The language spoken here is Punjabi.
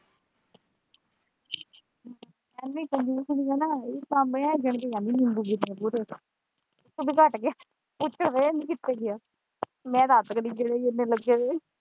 ਇੰਨੀ ਕੰਜੂਸਣੀ ਹੈ ਨਾ ਇਹਦੇ ਸਾਹਮਣੇ ਇਹ ਗਿਣ ਕੇ ਜਾਂਦੀ ਨਿੰਬੂ ਕਿੰਨੇ ਲੱਗੇ ਦੇ ਉਦੂਂ ਘੱਟ ਗਏ ਉੱਥੇ ਗਏ ਕ ਕਿੱਥੇ ਗਏ ਮੈਂ ਤਾਂ ਆਪ ਨਹੀਂ ਗਿਣੇ ਕਿੰਨੇ ਲੱਗੇ।